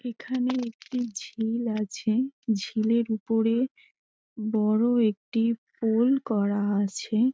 এখানে একটি ঝিল আছে । ঝিলের ওপরে বড়ো একটি পুল করা আছে।